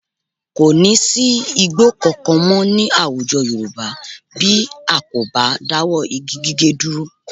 Kò ní sí igbó kankan mọ́ ní àwùjọ Yorùbá bí a kò bá dáwọ́ igi gíge dúró